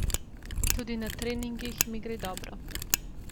Tudi na treningih mi gre dobro.